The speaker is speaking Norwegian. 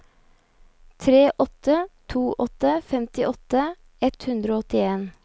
tre åtte to åtte femtiåtte ett hundre og åttien